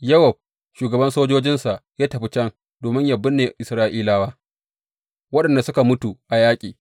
Yowab, shugaban sojojinsa ya tafi can domin yă binne Isra’ilawa waɗanda suka mutu a yaƙi.